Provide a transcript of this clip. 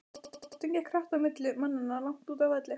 Boltinn gekk hratt á milli manna langt úti á velli.